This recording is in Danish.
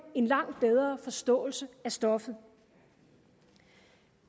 en langt bedre forståelse af stoffet